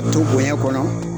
To bonya kɔnɔ.